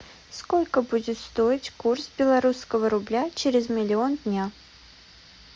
сколько будет стоить курс белорусского рубля через миллион дня